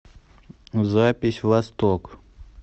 запись восток